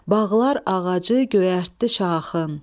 Bağlar ağacı göyərtdi şaxın.